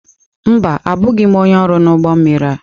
Mba, abụghị m onye ọrụ n'ụgbọ mmiri a.